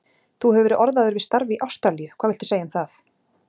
Þú hefur verið orðaður við starf í Ástralíu, hvað viltu segja um það?